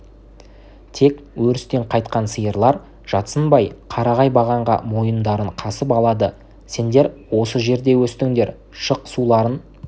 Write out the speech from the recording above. тек өрістен қайтқан сиырлар жатсынбай қарағай бағанға мойындарын қасып алады сендер осы жерде өстіңдер шық суларын